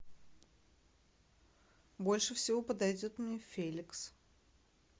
больше всего подойдет мне феликс